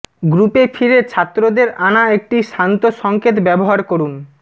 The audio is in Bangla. গ্রুপে ফিরে ছাত্রদের আনা একটি শান্ত সংকেত ব্যবহার করুন